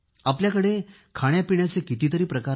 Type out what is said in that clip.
आपल्याकडे खाण्यापिण्याचे कितीतरी प्रकार आहेत